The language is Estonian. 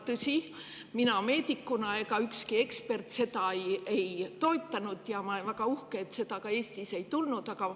Tõsi, mina meedikuna ja ükski ekspert seda ei toetanud ja ma olen väga uhke, et seda Eestis ka ei tulnud.